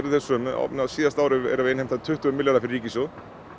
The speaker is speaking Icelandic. sömu á síðasta ári vorum við að innheimta tuttugu milljarða fyrir ríkissjóð